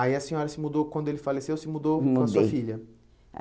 Aí a senhora se mudou, quando ele faleceu, se mudou me mudei para a sua filha.